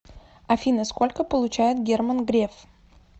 афина сколько получает герман греф